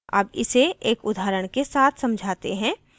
अब इसे एक उदाहरण के साथ समझाते हैं